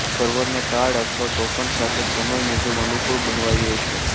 સર્વરને card અથવા token સાથે સમય મુજબ અનુકુળ બનાવાયું હશે